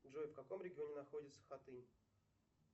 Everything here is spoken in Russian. джой в каком регионе находится хатынь